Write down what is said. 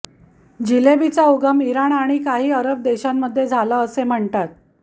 जिलेबीचा उगम इराण आणि काही अरब देशांमध्ये झाला असं म्हणतात